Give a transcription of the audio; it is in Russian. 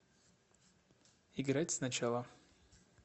играть сначала